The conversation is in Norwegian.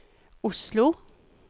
Oslo